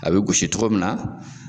A bɛ gosi togo min na.